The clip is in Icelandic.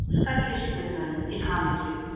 Óskar kyrrstöðumönnum til hamingju